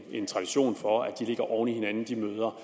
ikke tradition for at de møder